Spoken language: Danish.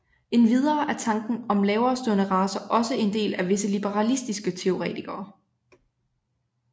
Endvidere er tanken om laverestående racer også en del af visse liberalistiske teoretikere